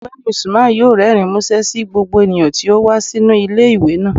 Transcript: Ọgbẹni Usman yọọ rẹrín musẹ sí gbogbo eníyan tí o wa sinu ile-iwe naa.